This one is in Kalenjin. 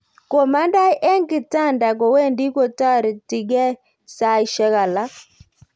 Komandai eng kitanda kowendi kotaritingie saishek alak